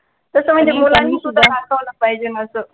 त्याचा मध्ये थोडा त्यांनी सुद्धा दाखवायला पाहिजे ना असं